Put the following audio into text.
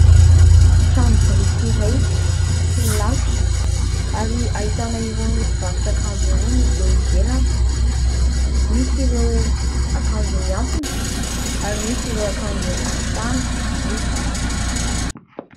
Trano biriky iray tsy milalotra ary ahitana irony mpivarotra akanjo irony eo ivelany. Misy ireo akanjo mihantona ary misy ireo akanj amin'ny tany amidy.